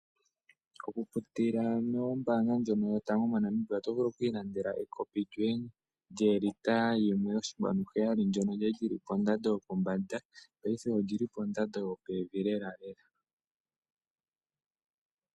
Landa ekopi lyoye lyo 1,7L oku pitila mombaanga yotango yaNamibia. Ekopi olya li pondando yopombanda ashike paife ondando oya kuluka nookondo.